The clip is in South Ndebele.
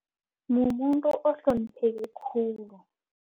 Mumuntu ohlonipheke khulu.